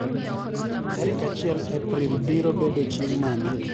tarik achiel epril biro bedo chieng mane